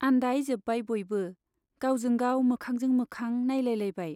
आन्दायजोब्बाय बयबो, गावजों गाव मोखांजों मोखां नाइलायलायबाय।